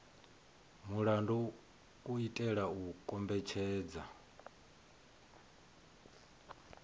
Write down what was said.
mulandu u itela u kombetshedza